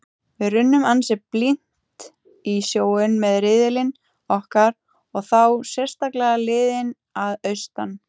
Við runnum ansi blint í sjóinn með riðillinn okkar og þá sérstaklega liðin að austan.